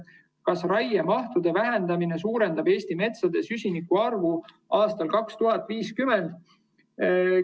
Kas raiemahtude vähendamine suurendab Eesti metsade süsinikuvaru aastal 2050?